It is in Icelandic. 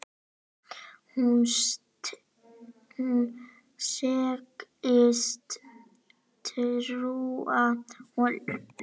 Hún segist trúa honum.